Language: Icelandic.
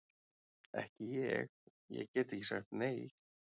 Ekki ég, ég gat ekki sagt nei.